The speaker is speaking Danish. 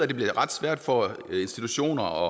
det bliver ret svært for institutioner